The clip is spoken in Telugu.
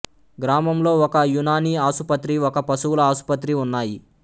గ్రామంలో ఒక యునానీ ఆసుపత్రి ఒక పశువుల ఆసుపత్రి ఉన్నాయి